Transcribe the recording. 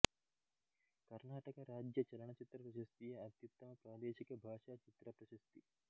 ಕರ್ನಾಟಕ ರಾಜ್ಯ ಚಲನಚಿತ್ರ ಪ್ರಶಸ್ತಿಯ ಅತ್ಯುತ್ತಮ ಪ್ರಾದೇಶಿಕ ಭಾಷಾ ಚಿತ್ರ ಪ್ರಶಸ್ತಿ